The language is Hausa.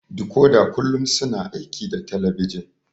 Dikoda kullum suna aiki da talabijin